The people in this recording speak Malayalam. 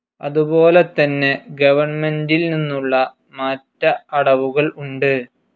അതുപോലെതന്നെ ഗവണ്മെൻ്റിൽനിന്നുള്ള മാറ്റ അടവുകൾ ഉണ്ട്.